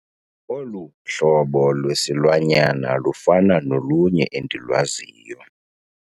Olu hlobo lwesilwanyana lufana nolunye endilwaziyo.